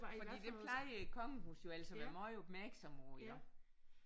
Fordi det plejer kongehuset jo ellers at være meget opmærksomme på iggå